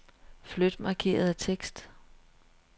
Flyt markerede tekst.